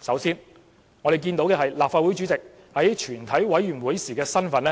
首先，立法會主席在全委會時的身份